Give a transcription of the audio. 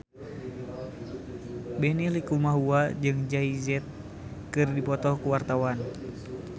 Benny Likumahua jeung Jay Z keur dipoto ku wartawan